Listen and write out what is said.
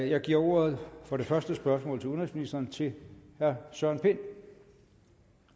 jeg giver ordet for det første spørgsmål til udenrigsministeren til herre søren pind